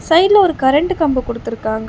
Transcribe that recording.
சைடுல ஒரு current combo குடுத்துருக்காங்க.